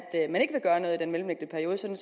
gøre noget i den mellemliggende periode sådan